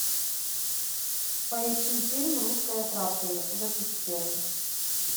поищи фильм русское краткое выпуск первый